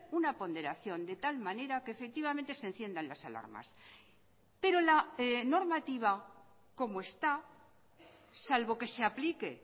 una ponderación de tal manera que efectivamente se enciendan las alarmas pero la normativa como está salvo que se aplique